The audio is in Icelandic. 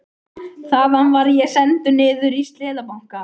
Þaðan var ég sendur niður í Seðlabanka.